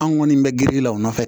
An kɔni bɛ girin la o nɔfɛ